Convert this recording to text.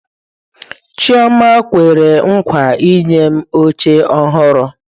Chioma kwere nkwa inye m oche ọhụrụ.